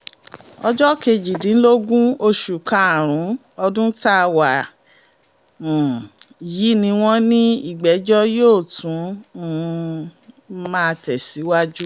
ọjọ́ kejìdínlógún oṣù karùn-ún ọdún tá a wà um yìí ni wọ́n ní ìgbẹ́jọ́ yóò tún um máa tẹ̀síwájú